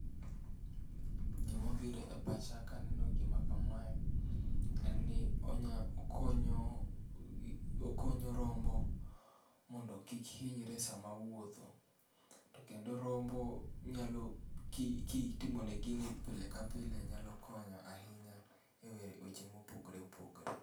Gima biro e pacha kaneno gima kamae en ni onya konyo gi, okonyo rombo mondo kik hinyre sama owuotho to kendo rombo nyalo, kitimo ne gini pile ka pile nyalo konyo ahinya e weche ma opogore opogore